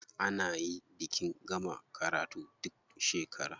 A nayi bikin gama karatu duk shekara.